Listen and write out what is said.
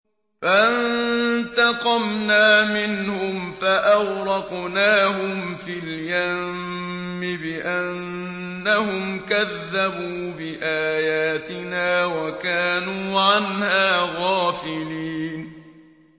فَانتَقَمْنَا مِنْهُمْ فَأَغْرَقْنَاهُمْ فِي الْيَمِّ بِأَنَّهُمْ كَذَّبُوا بِآيَاتِنَا وَكَانُوا عَنْهَا غَافِلِينَ